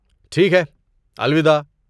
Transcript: ٹھیک ہے، الوداع۔